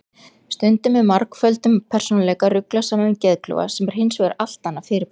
Stundum er margföldum persónuleika ruglað saman við geðklofa sem er hins vegar allt annað fyrirbæri.